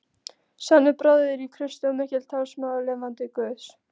Sannur bróðir í Kristi og mikill talsmaður lifanda guðs.